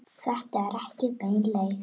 Þetta er ekki bein leið.